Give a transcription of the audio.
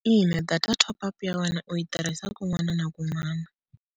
Ina data top-up ya wena u yi tirhisa kun'wana na kun'wana.